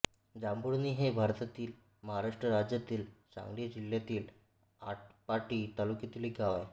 जांभुळणी हे भारतातील महाराष्ट्र राज्यातील सांगली जिल्ह्यातील आटपाडी तालुक्यातील एक गाव आहे